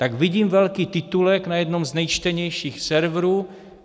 Tak vidím velký titulek na jednom z nejčtenějších serverů -